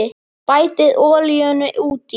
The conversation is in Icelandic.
Bætið olíunni út í.